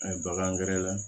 A ye bagan gɛrɛ